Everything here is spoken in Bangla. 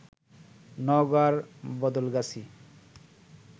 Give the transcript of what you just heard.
নওগাঁর বদলগাছী